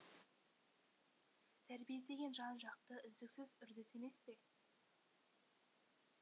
тәрбие деген жан жақты үздіксіз үрдіс емес пе